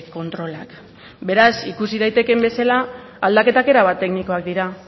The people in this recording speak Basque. kontrolak beraz ikusi daitekeen bezala aldaketak erabat teknikoak dira